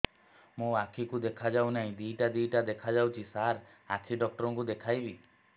ମୋ ଆଖିକୁ ଦେଖା ଯାଉ ନାହିଁ ଦିଇଟା ଦିଇଟା ଦେଖା ଯାଉଛି ସାର୍ ଆଖି ଡକ୍ଟର କୁ ଦେଖାଇବି